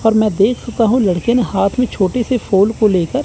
और मैं देख चुका हूं लड़के ने हाथ में छोटे से फूल को लेकर--